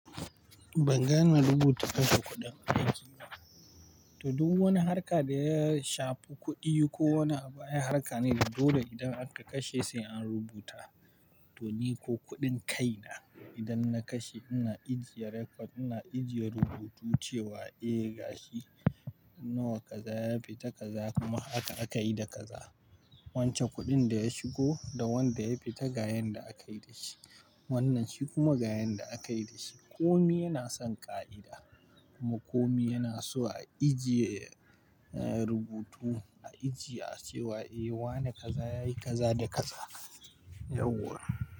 Ban gane rubuta kashi kuɗin ba. To duk wani harka da ya shafi kuɗi ko wani abu ai harka ne. Da dole idan aka kashe sai an rubuta. To ni ko kuɗin kai na idan na kashe ina ijiye record, ina ijiye rubutu cewa eh gashi nawa kaza ya fita kaza kuma haka aka yi da kaza. Wancan kuɗin da ya shigo da wanda ya fita ga yanda akayi da shi. Wannan shi kuma ga yanda akayi da shi. Komi yana son ƙa'ida. kuMa komi yana so a ijiye, eh rubutu a ijiye cewa eh wane kaza yayi kaza da kaza. Yauwa.